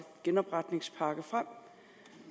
genopretningspakken frem